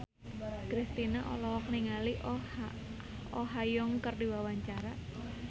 Kristina olohok ningali Oh Ha Young keur diwawancara